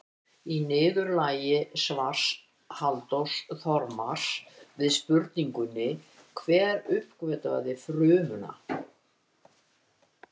Í niðurlagi svars Halldórs Þormars við spurningunni Hver uppgötvaði frumuna?